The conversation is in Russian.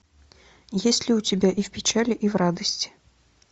есть ли у тебя и в печали и в радости